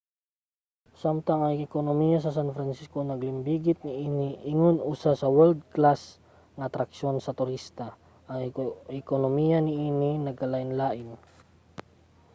samtang ang ekonomiya sa san francisco nalambigit niini ingon usa ka world-class nga atraksyon sa turista ang ekonomiya niini nagkalainlain